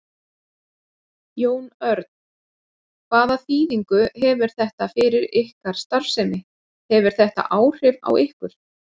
Jón Örn: Hvaða þýðingu hefur þetta fyrir ykkar starfsemi, hefur þetta áhrif á ykkur?